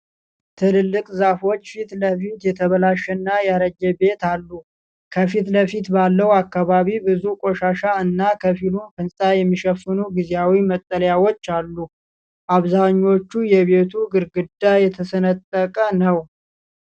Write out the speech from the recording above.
ትልልቅ ዛፎች ፊት ለፊት የተበላሸና ያረጀ ቤት አሉ። ከፊት ለፊት ባለው አካባቢ ብዙ ቆሻሻ እና ከፊሉን ህንጻ የሚሸፍኑ ጊዜያዊ መጠለያዎች አሉ። አብዛኛው የቤቱ ግድግዳ የተሰነጠቀ ነው።